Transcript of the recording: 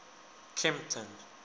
kempton